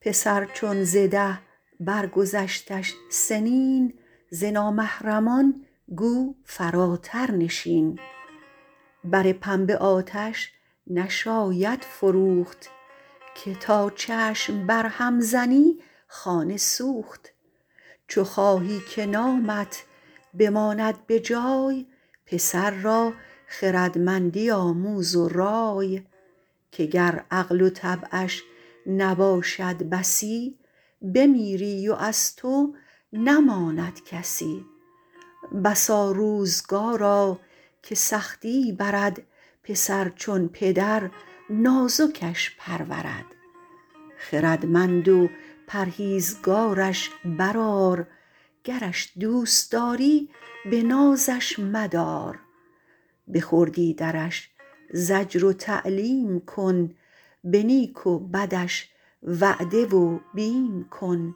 پسر چون ز ده بر گذشتش سنین ز نامحرمان گو فراتر نشین بر پنبه آتش نشاید فروخت که تا چشم بر هم زنی خانه سوخت چو خواهی که نامت بماند به جای پسر را خردمندی آموز و رای که گر عقل و طبعش نباشد بسی بمیری و از تو نماند کسی بسا روزگارا که سختی برد پسر چون پدر نازکش پرورد خردمند و پرهیزگارش بر آر گرش دوست داری به نازش مدار به خردی درش زجر و تعلیم کن به نیک و بدش وعده و بیم کن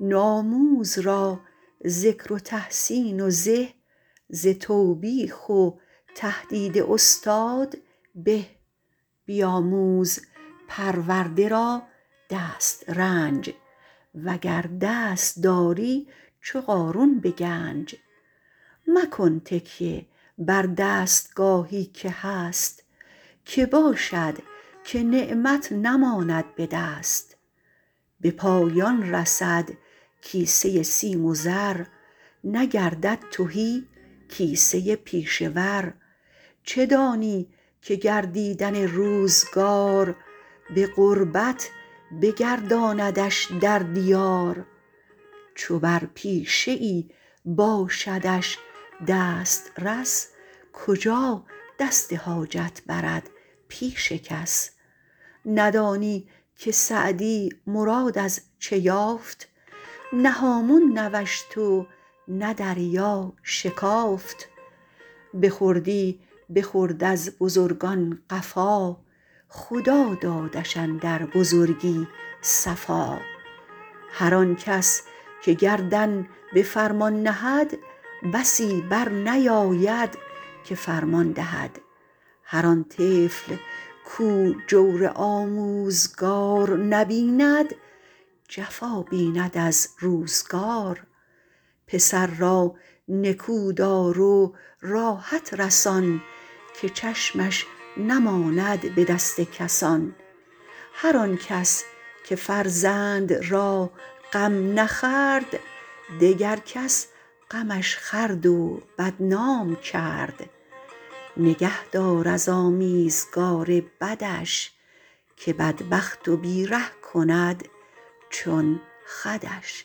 نوآموز را ذکر و تحسین و زه ز توبیخ و تهدید استاد به بیاموز پرورده را دسترنج وگر دست داری چو قارون به گنج مکن تکیه بر دستگاهی که هست که باشد که نعمت نماند به دست به پایان رسد کیسه سیم و زر نگردد تهی کیسه پیشه ور چه دانی که گردیدن روزگار به غربت بگرداندش در دیار چو بر پیشه ای باشدش دسترس کجا دست حاجت برد پیش کس ندانی که سعدی مراد از چه یافت نه هامون نوشت و نه دریا شکافت به خردی بخورد از بزرگان قفا خدا دادش اندر بزرگی صفا هر آن کس که گردن به فرمان نهد بسی بر نیاید که فرمان دهد هر آن طفل کاو جور آموزگار نبیند جفا بیند از روزگار پسر را نکو دار و راحت رسان که چشمش نماند به دست کسان هر آن کس که فرزند را غم نخورد دگر کس غمش خورد و بدنام کرد نگه دار از آمیزگار بدش که بدبخت و بی ره کند چون خودش